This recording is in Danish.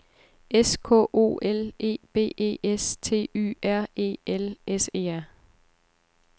S K O L E B E S T Y R E L S E R